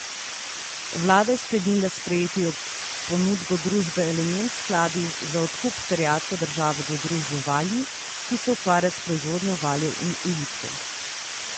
Vlada je sklenila sprejeti ponudbo družbe Elements Skladi za odkup terjatve države do družbe Valji, ki se ukvarja s proizvodnjo valjev in ulitkov.